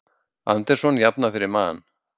Anderson jafnar fyrir Man